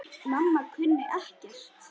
Mamma kunni ekkert.